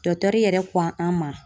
Dɔkitɛri yɛrɛ ko an ma